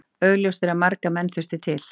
Augljóst er að marga menn þurfti til.